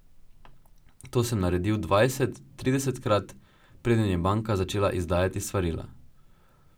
To sem naredil dvajset, tridesetkrat, preden je banka začela izdajati svarila.